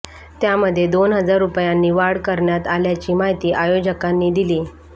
त्यामध्ये दोन हजार रूपयांनी वाढ करण्यात आल्याची माहिती आयोजकांनी दिली